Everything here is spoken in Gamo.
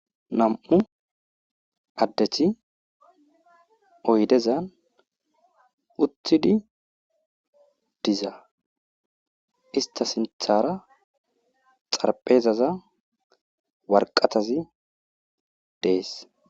Nam7u adeti oydezan uthidi diza istha sinthara xarphezaza warqatazi dees.